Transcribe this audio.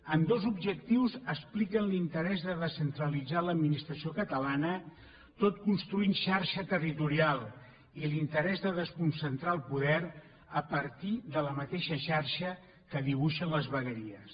ambdós objectius expliquen l’interès de descentralitzar l’administració catalana tot construint xarxa territorial i l’interès de desconcentrar el poder a partir de la mateixa xarxa que dibuixen les vegueries